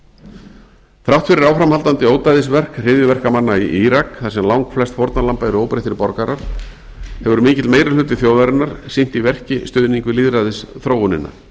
þrátt fyrir áframhaldandi ódæðisverk hryðjuverkamanna í írak þar sem langflest fórnarlamba eru óbreyttir borgarar hefur mikill meirihluti þjóðarinnar sýnt í verki stuðning við lýðræðisþróunina